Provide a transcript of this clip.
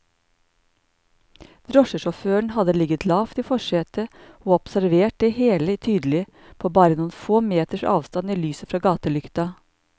Drosjesjåføren hadde ligget lavt i forsetet og observert det hele tydelig, på bare noen få meters avstand i lyset fra gatelykta.